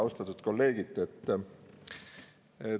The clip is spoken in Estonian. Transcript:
Austatud kolleegid!